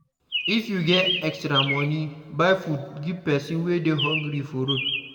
If you get extra money, buy food give person wey dey hungry for road.